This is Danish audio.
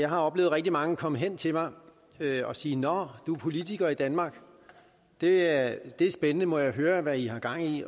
jeg har oplevet rigtig mange komme hen til mig og sige nå du er politiker i danmark det er spændende må jeg høre hvad i har gang i